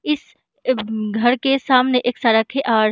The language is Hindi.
इस घर के सामने एक सड़क है और --